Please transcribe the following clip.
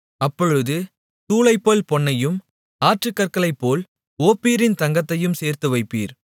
அப்பொழுது தூளைப்போல் பொன்னையும் ஆற்றுக் கற்களைப்போல் ஓப்பீரின் தங்கத்தையும் சேர்த்துவைப்பீர்